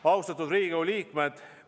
Austatud Riigikogu liikmed!